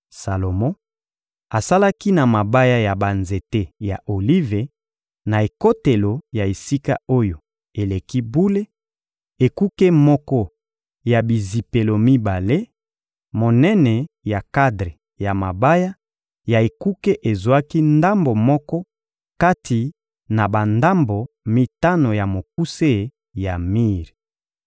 Salomo asalaki na mabaya ya banzete ya olive, na ekotelo ya Esika-Oyo-Eleki-Bule, ekuke moko ya bizipelo mibale: monene ya kadre ya mabaya ya ekuke ezwaki ndambo moko kati na bandambo mitano ya mokuse ya mir.